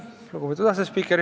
Lugupeetud asespiiker!